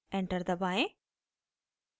enter दबाएं